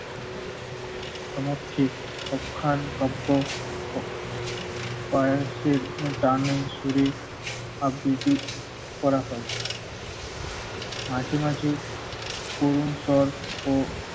সমক্ষে অখ্যান কাব্য ও পার্সির টানের সুরে আবৃত্তি করা হয় মাঝে মাঝে করুণ স্বর ও